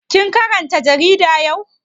Kin karanta jarida yau?